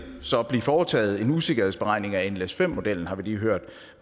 så blive foretaget en usikkerhedsberegning af nles5 modellen har vi lige hørt